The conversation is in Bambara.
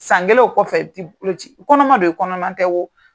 San kelen o kɔfɛ ti boloci kɔnɔman do i kɔnɔman tɛ wo.